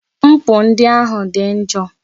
Mkpu ndị ahụ dị njọ.